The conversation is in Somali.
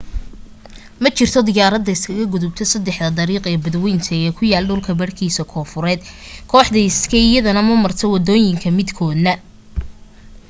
ma jirto diyaarada isaga gudubta saddex dariiq ee badwaynta ee ku yaal dhulka badhkiisa koonfureed kooxda sky iyana ma marto waddooyinka midkoodna